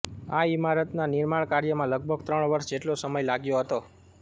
આ ઈમારતના નિર્માણ કાર્યમાં લગભગ ત્રણ વર્ષ જેટલો સમય લાગ્યો હતો